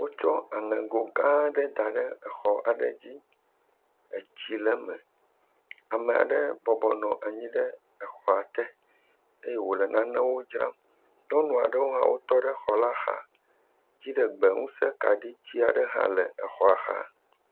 Wotsɔ aɛego gã aɖe da ɖe exɔ aɖe dzi. Etsi le eme. Ame aɖe bɔbɔnɔ anyi ɖe exɔa t eke wo le nanewo dzram. Nyɔnu aɖewo hã wotɔ ɖe xɔ la xa. Dziɖegbeŋusekaɖitsi aɖe hã le exɔa xa.